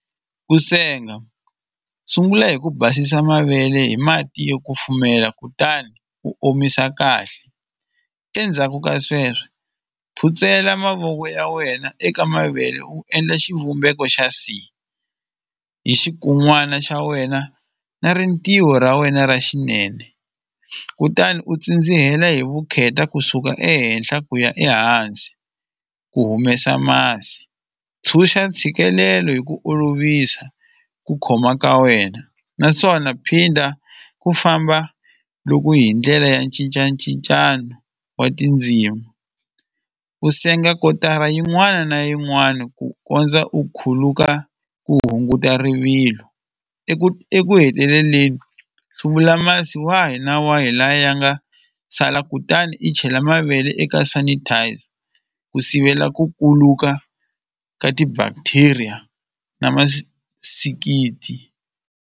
Ku senga sungula hi ku basisa mavele hi mati yo kufumela kutani u omisa kahle endzhaku ka sweswo phutsela mavoko ya wena eka mavele wu endla xivumbeko xa C hi xikun'wana xa wena na rintiho ra wena ra xinene kutani u tsindzihela hi vukheta kusuka ehenhla ku ya ehansi u humesa masi tshuxa ntshikelelo hi ku olovisa ku khoma ka wena naswona phinda ku famba loko hi ndlela ya cincacincana wa tindzimu u senga kotara yin'wana na yin'wana ku kondza u khuluka u hunguta rivilo eku eku heteleleni hluvula masi wa hina wa hi laha ya nga sala kutani i chela mavele eka sanitizer ku sivela ku kuluka ka ti-bacteria na .